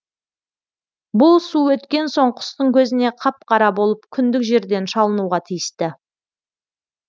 бұл су өткен соң құстың көзіне қап қара болып күндік жерден шалынуға тиісті